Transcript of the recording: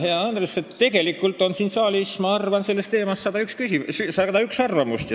Hea Andres, tegelikult on siin saalis, ma arvan, sellel teemal 101 arvamust.